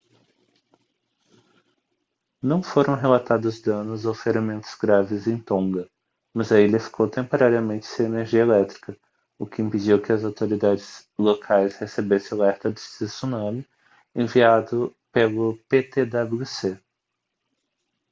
não foram relatados danos ou ferimentos graves em tonga mas a ilha ficou temporariamente sem energia elétrica o que impediu que as autoridades locais recebessem o alerta de tsunami enviado pelo ptwc